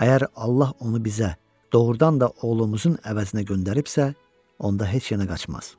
Əgər Allah onu bizə doğrudan da oğlumuzun əvəzinə göndəribsə, onda heç yerə qaçmaz.